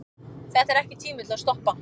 Þetta er ekki tími til að stoppa.